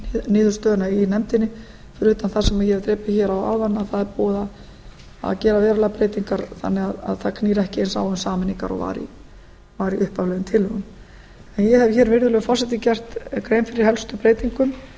niðurstöðuna í nefndinni fyrir utan það sem ég hef drepið hér á áðan að það er búið að gera verulegar breytingar þannig að það knýr ekki eins á um sameiningar og var í upphaflegum tillögum ég hef hér virðulegur forseti gert grein fyrir helstu breytingum